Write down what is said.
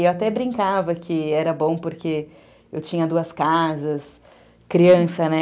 E eu até brincava que era bom porque eu tinha duas casas, criança, né?